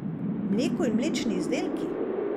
Mleko in mlečni izdelki?